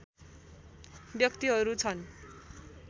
व्यक्तिहरु छन्